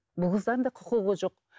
бұл қыздан да құқығы жоқ